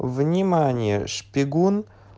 внимание шпигун